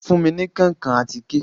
Fun mi ní kankan àtike